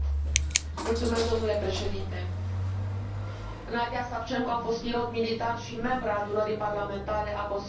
Domnule președinte, Nadiya Savchenko a fost pilot militar și membră a Adunării parlamentare a Consiliului Europei.